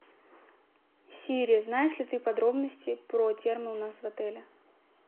сири знаешь ли ты подробности про термо у нас в отеле